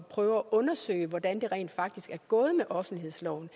prøve at undersøge hvordan det rent faktisk er gået med offentlighedsloven